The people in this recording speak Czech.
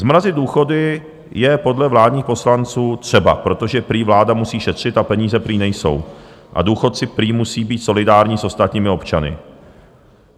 Zmrazit důchody je podle vládních poslanců třeba, protože prý vláda musí šetřit, a peníze prý nejsou a důchodci prý musí být solidární s ostatními občany.